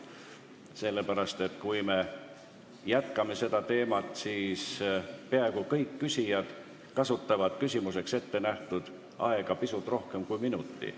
Sellepärast et kui me jätkame konkreetset teemat, siis peaaegu kõik küsijad kasutavad küsimuseks ettenähtud aega pisut rohkem kui minuti.